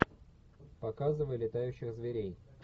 показывай летающих зверей